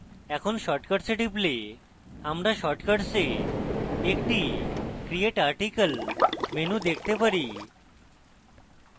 এখন shortcuts a টিপলে আমরা shortcuts a একটি create article menu দেখতে পারি